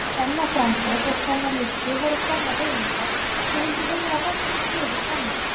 Kvennaframboð og Kvennalisti voru kvennahreyfingar sem vildu vinna að bættri stöðu kvenna.